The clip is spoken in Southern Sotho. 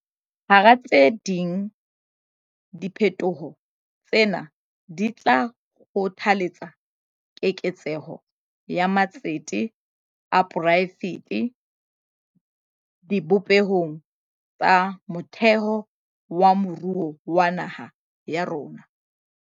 Hara tse ding, diphetoho tsena di tla kgothaletsa keketseho ya matsete a poraefete dibopehong tsa motheo tsa moruo wa naha ya rona.